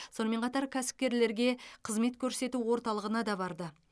сонымен қатар кәсіпкерлерге қызмет көрсету орталығына да барды